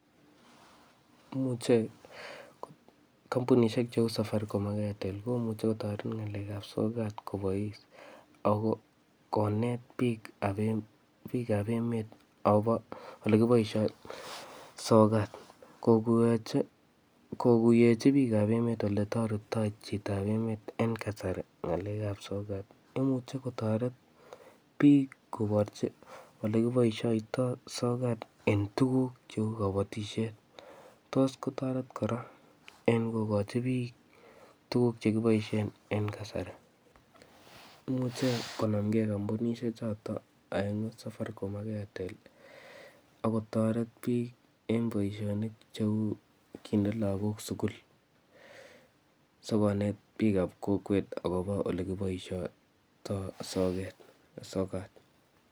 Imuche kampunishek cheu safaricom ak airtel komuche kotoret eng ng'alek ap sokat kobois ako konet biik ap-biik ap emet akobo ole kiboisoi sokat. Koborchi, koguyechi biik ap emet ole toritoi chito en emet en kasari ng'alek ap sokat. Imuchi kotoret biik koborchi ole kiboisoitoi sokat en tuguk cheu kabatisiet. Tos kotoret kora en kokochi biik tuguk che kiboisien en kasari. Imuche konamkee kampunishek chotok safaricom ak airtel, akotoret biik en boisonik cheu kinde lagok sukul, sikonet biik ap kokwet akobo ole kiboisoitoi soket, sokat.